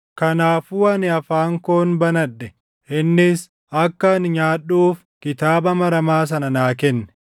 Kanaafuu ani afaan koon banadhe; innis akka ani nyaadhuuf kitaaba maramaa sana naa kenne.